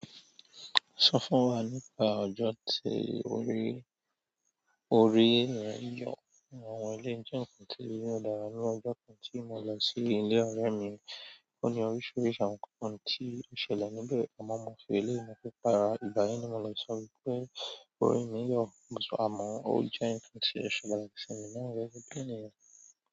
Sọ fún wa nípa ọjọ́ tí orí, orí rẹ yọ. Àwọn ilé ijọ hun ti ilé ìdárayá ní ọjọ́ kan tí mo lọ sí ilé ọ̀rẹ́ mi. Ó ní oríṣiríṣi àwọn ohun tí ó ṣẹlẹ̀ níbẹ̀. Àwọn ọmọ ẹgbẹ́ ilé ìfowópamọ́ yàrá ìgbà yẹn ni mo lọ sọ wípé orí mi yọ, àmọ́ ó jẹ́ nǹkan tí ó ṣẹlẹ̀ láti sìnú mi wẹ́wẹ́ gbẹ́ni.